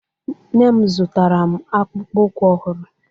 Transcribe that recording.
Nne m zụtara m akpụkpọ ụkwụ ọhụrụ